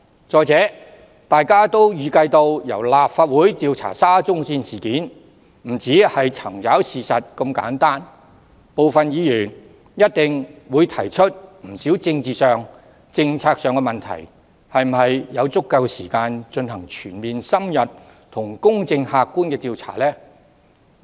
再者，大家也預計到，若由立法會調查沙中線事件，不會只是查找事實，部分議員一定會提出不少政治及政策上的問題，這樣又是否有足夠時間進行全面、深入和公正客觀的調查呢？